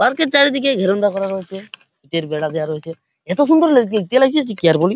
পার্কের এর চারিদিকে ঘেরণটা করা রয়েছে ইটের বেড়া দেওয়া রয়েছে এতো সুন্দর লা দেখতে লাগছে যে কি আর বলি।